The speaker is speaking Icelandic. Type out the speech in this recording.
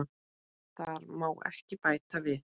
Þar má ekki bæta við.